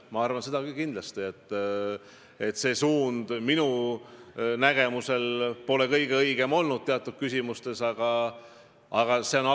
Ma arvan, et kindlasti polnud toonane suund teatud küsimustes alati mitte kõige õigem.